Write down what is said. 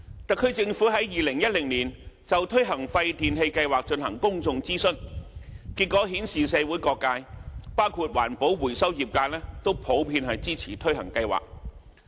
特區政府在2010年就推行廢電器計劃進行公眾諮詢，結果顯示社會各界，包括環保回收業界都普遍支持推行計劃。